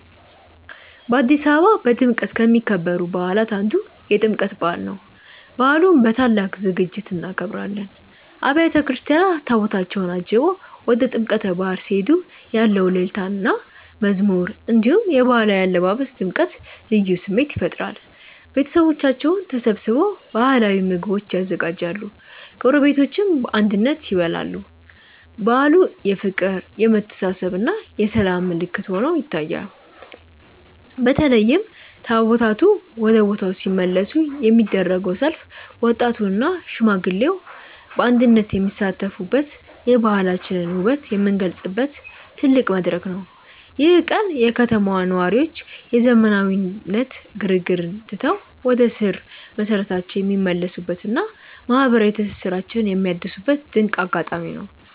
በአዲስ አበባ በድምቀት ከሚከበሩ በዓላት አንዱ የጥምቀት በዓል ነው። በዓሉን በታላቅ ዝግጅት እናከብራለን። አብያተ ክርስቲያናት ታቦታታቸውን አጅበው ወደ ጥምቀተ ባሕር ሲሄዱ ያለው እልልታና መዝሙር፣ እንዲሁም የባህላዊ አለባበስ ድምቀት ልዩ ስሜት ይፈጥራል። ቤተሰቦቻችን ተሰብስበው ባህላዊ ምግቦችን ያዘጋጃሉ፤ ጎረቤቶችም በአንድነት ይበላሉ። በዓሉ የፍቅር፣ የመተሳሰብና የሰላም ምልክት ሆኖ ይታያል። በተለይም ታቦታቱ ወደ ቦታው ሲመለሱ የሚደረገው ሰልፍ ወጣቱና ሽማግሌው በአንድነት የሚሳተፉበት፣ የባህላችንን ውበት የምንገልጽበት ትልቅ መድረክ ነው። ይህ ቀን የከተማዋ ነዋሪዎች የዘመናዊነት ግርግርን ትተው ወደ ስር መሰረታቸው የሚመለሱበትና ማህበራዊ ትስስራቸውን የሚያድሱበት ድንቅ አጋጣሚ ነው።